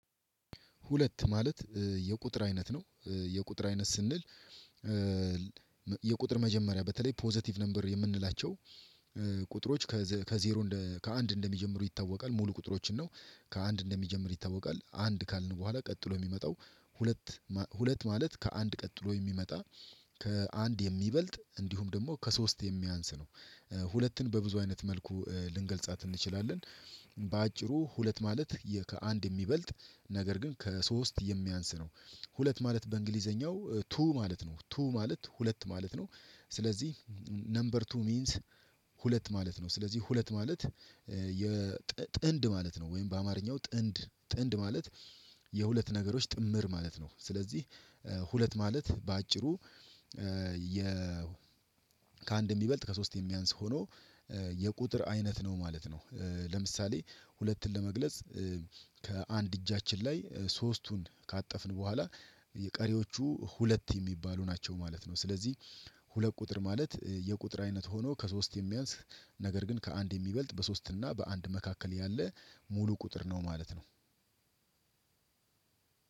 ሁለት ማለት የቁጥር አይነት ነው። የቁጥር አይነት ስንል። የቁጥር መጀመሪያ በተለይ ፖዘቲቭ ነበር የምንላቸው ቁጥሮች ከዜሮ ከአንድ እንደሚጀምሩ ይታወቃል። ሙሉ ቁጥሮችን ነው ከአንድ እንደሚጀምር ይታወቃል። አንድ ካልን በኋላ ቀጥሎ የሚመጣው ሁለት ሁለት ማለት ከአንድ ቀጥሎ የሚመጣ ከአንድ የሚበልጥ እንዲሁም ደግሞ ከሶስት የሚያንስ ነው። ሁለትን በብዙ አይነት መልኩ ልንገልጻት እንችላለን። በአጭሩ ሁለት ማለት የ ከአንድ የሚበልጥ ነገር ግን ከሶስት የሚያንስ ነው። ሁለት ማለት በእንግሊዘኛው ቱ ማለት ነው ቱ ማለት ሁለት ማለት ነው። ስለዚህ ነምበር ቱ ሚንስ። ሁለት ማለት ነው ስለዚህ ሁለት ማለት የጥንድ ማለት ነው። ወይም በአማርኛው ጥንድ ጥንድ ማለት የሁለት ነገሮች ጥምር ማለት ነው። ስለዚህ ሁለት ማለት በአጭሩ ከአንድ ሚበልጥ ከሶስት የሚያንስ ሆኖ የቁጥር አይነት ነው ማለት ነው። ለምሳሌ ሁለትን ለመግለጽ ከአንድ እጃችን ላይ ሶስቱን ካጠፍን በኋላ የቀሪዎቹ ሁለት የሚባሉ ናቸው ማለት ነው። ስለዚህ ሁለት ቁጥር ማለት የቁጥር አይነት ሆኖ ከሶስት የሚያንስ ነገር ግን ከአንድ የሚበልጥ በሶስት እና በአንድ መካከል ያለ ሙሉ ቁጥር ነው ማለት ነው።